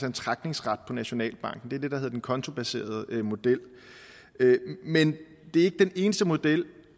en trækningsret på nationalbanken det er det der hedder den kontobaserede model men det er ikke den eneste model